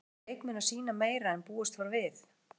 Kannski eru leikmenn að sýna meira en búist var við?